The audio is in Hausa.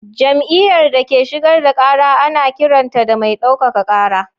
Jam’iyyar da ke shigar da kara ana kiranta da mai daukaka kara.